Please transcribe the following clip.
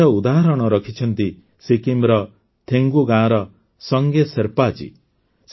ଏହାର ଉଦାହରଣ ରଖିଛନ୍ତି ସିକ୍କିମର ଥେଗୁ ଗାଁର ସଙ୍ଗେ ଶେର୍ପା ଜୀ